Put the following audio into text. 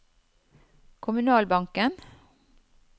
kommunalbanken